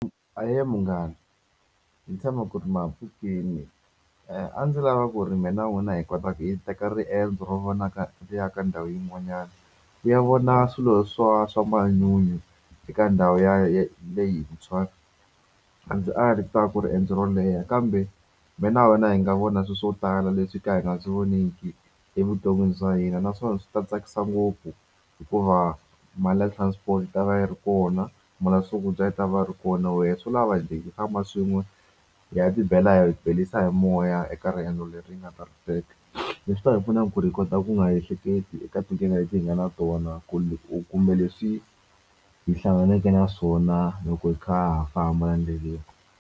Ahee munghana. Ni tshama ku ri ma ha pfukile. A ndzi lava ku ri mina na n'wina hi kota hi teka riendzo ro vonaka ri ya ka ndhawu yin'wanyana, ku ya vona swilo swa swa manyunyu eka ndhawu ya ya ya leyintshwa. A ndzi ali ku ta ve ku riendzo ro leha kambe mina na wena hi nga vona swilo swo tala leswi hi ka hi nga swi voniki evuton'wini bya hina. Naswona swi ta tsakisa ngopfu hikuva mali ya transport yi ta va yi ri kona, mali ya swakudya yi ta va ri kona. Wena swo lava hi famba swin'we hi ya tibela hi beriwa hi moya eka riendzo leri hi nga ta ri teka. Leswi ta hi pfuna ku ri hi kota ku nga ha ehleketi eka tinkingha leti hi nga na tona kumbe leswi hi hlanganaka na swona loko hi kha hi famba endleleni.